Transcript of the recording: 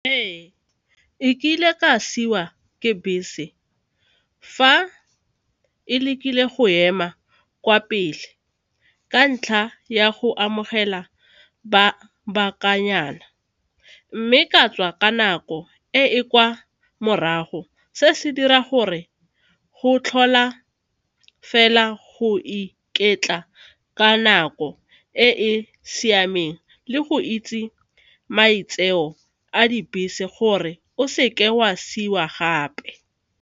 Ee, e kile ka siwa ke bese fa e lekile go ema kwa pele ka ntlha ya go amogela ba mme ka tswa ka nako e e kwa morago se se dira gore go tlhola fela go iketla ka nako e e siameng le go itse maitseo a dibese gore o seke wa siiwa gape.